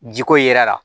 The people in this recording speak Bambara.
Jiko yera la